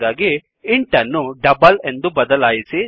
ಹಾಗಾಗಿ ಇಂಟ್ ಅನ್ನು ಡಬಲ್ ಎಂದು ಬದಲಾಯಿಸಿ